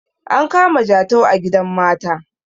an kama jatau a gidan mata